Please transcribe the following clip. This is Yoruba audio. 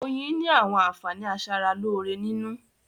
Oyin ni àwọn àǹfààní a sára lóore nínú